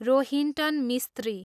Rohinton Mistry